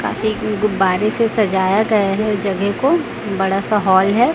काफी गुब्बारे से सजाया गया है इस जगह को बड़ा सा हॉल है।